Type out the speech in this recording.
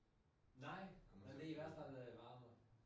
Nej. Men det i hvert fald øh varmere